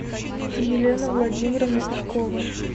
елена владимировна пешкова